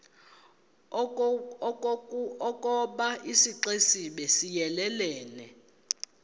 ukoba isixesibe siyelelene